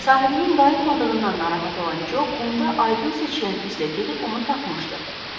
Sahibinin dayanmadığından narahat olan Co qumda aydın seçilən izlə gedib onu tapmışdı.